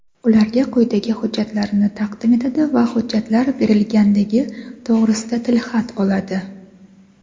ularga quyidagi hujjatlarni taqdim etadi va hujjatlar berilganligi to‘g‘risida tilxat oladi:.